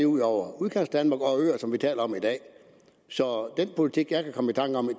ud over udkantsdanmark og øer som vi taler om i dag så går den politik jeg kan komme i tanke om